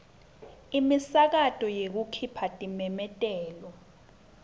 imisakato yekukhipha timemetelo